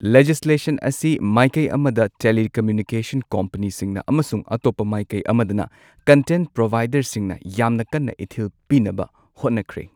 Legislation ꯑꯁꯤ ꯃꯥꯢꯀꯩ ꯑꯃꯗ ꯇꯦꯂꯤꯀꯝꯃ꯭ꯌꯨꯅꯤꯀꯦꯁꯟ ꯀꯝꯄꯦꯅꯤꯁꯤꯡꯅ, ꯑꯃꯁꯨꯡ ꯑꯇꯣꯞꯄ ꯃꯥꯌꯀꯩ ꯑꯃꯗꯅ ꯀꯟꯇꯦꯟꯇ ꯄ꯭ꯔꯣꯚꯥꯏꯗꯔꯁꯤꯡꯅ ꯌꯥꯝꯅ ꯀꯟꯅ ꯏꯊꯤꯜ ꯄꯤꯅꯕ ꯍꯣꯠꯅꯈ꯭ꯔꯦ꯫